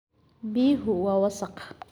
Biyuhu waa wasakh.